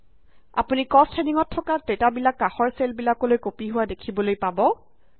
আপুনি কষ্ট হেডিঙত থকা ডেটাবিলাক কাষৰ চেল বিলাকলৈ কপি হোৱা দেখিবলৈ পাব